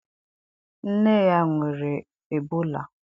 nne ya nwere Ebola.